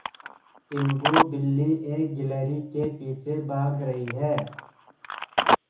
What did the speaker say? टीनगु बिल्ली एक गिल्हरि के पीछे भाग रही है